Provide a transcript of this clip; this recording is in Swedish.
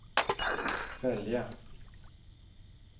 följa